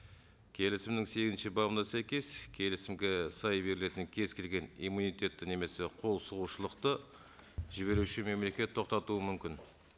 келісімнің сегізінші бабына сәйкес келісімге сай берілетін кез келген иммунитетті немесе қолсұғушылықты жіберуші мемлекет тоқтатуы мүмкін